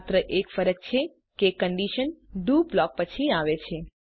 માત્ર એક ફરક છે કે કન્ડીશન ડીઓ બ્લોક પછી આવે છે